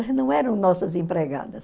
não eram nossas empregadas.